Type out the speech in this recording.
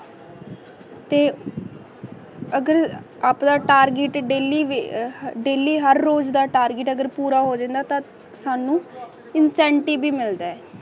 ਤੇ ਅਗਰ ਆਪਣਾ ਟਾਰਗੇਟ ਆ ਡੇਲੀ ਹਰ ਰੋਜ਼ ਦਾ ਟਾਰਗੇਟ ਪੂਰਾ ਹੋ ਜਾਵੇ ਨਾ ਤੇ ਸਾਂਨੂੰ ਇੰਸੈਟੀਬ ਭੀ ਮਿਲਦਾ ਹੈ